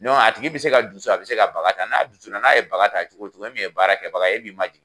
a tigi bɛ se ka dusu, a bɛ se ka baga ta, n'a dusu la n'a ye baga ta cogo cogo e min ye baarakɛ baga ye, e b'i ma jigin.